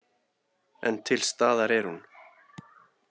En til staðar er hún.